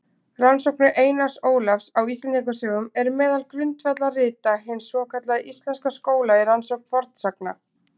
Rannsóknir Einars Ólafs á Íslendingasögum eru meðal grundvallarrita hins svokallaða íslenska skóla í rannsókn fornsagna.